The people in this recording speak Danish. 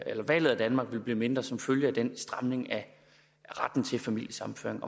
eller valget af danmark vil blive mindre hyppigt som følge af den stramning af retten til familiesammenføring